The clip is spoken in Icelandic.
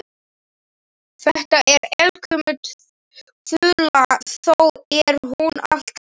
Þetta er eldgömul þula þó er hún alltaf ný.